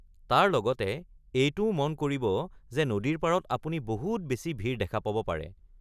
তাৰ লগতে এইটোও মন কৰিব যে নদীৰ পাৰত আপুনি বহুত বেছি ভিৰ দেখা পাব পাৰে।